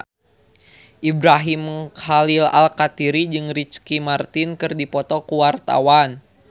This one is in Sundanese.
Ibrahim Khalil Alkatiri jeung Ricky Martin keur dipoto ku wartawan